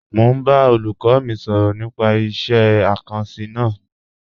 Mọ̀ n bá olúkọ́ mi sọrọ̀ nípà ìṣẹ̀ àkànsí náà.